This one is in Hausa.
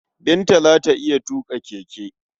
Binta za ta iya tuƙa keke.